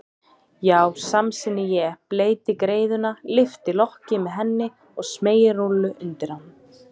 Já, samsinni ég, bleyti greiðuna, lyfti lokki með henni og smeygi rúllu undir hann.